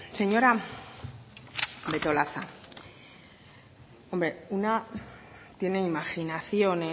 señora betolaza una tiene imaginación